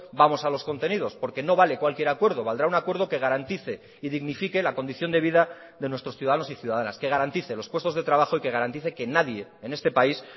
vamos a los contenidos porque no vale cualquier acuerdo valdrá un acuerdo que garantice y dignifique la condición de vida de nuestros ciudadanos y ciudadanas que garantice los puestos de trabajo y que garantice que nadie en este país